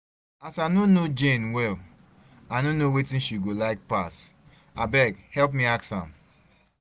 As I no know Jane well, I no know wetin she go like pass, abeg help me ask am